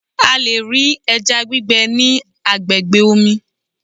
A lè rí ẹja gbígbẹ ní agbègbè omi.